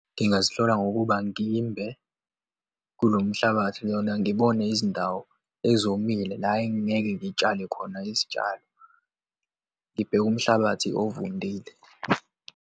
Ngingazihlola ngokuba ngimbe kulo mhlabathi lona, ngibone izindawo ezomile la engingeke ngitshale khona izitshalo, ngibheke umhlabathi ovundile.